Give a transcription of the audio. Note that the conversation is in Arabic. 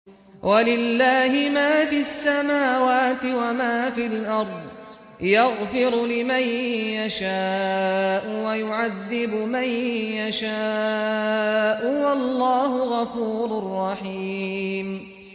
وَلِلَّهِ مَا فِي السَّمَاوَاتِ وَمَا فِي الْأَرْضِ ۚ يَغْفِرُ لِمَن يَشَاءُ وَيُعَذِّبُ مَن يَشَاءُ ۚ وَاللَّهُ غَفُورٌ رَّحِيمٌ